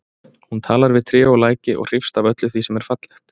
Hún talar við tré og læki og hrífst af öllu því sem er fallegt.